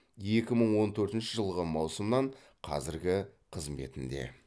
екі мың он төртінші жылғы маусымнан қазіргі қызметінде